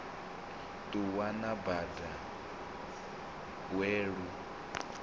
ṱuwa na bada we lu